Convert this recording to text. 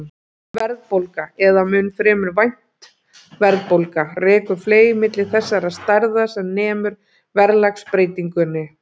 Verðbólga, eða mun fremur vænt verðbólga, rekur fleyg milli þessara stærða sem nemur verðlagsbreytingunni.